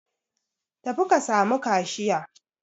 Tafi ka samu kashiya.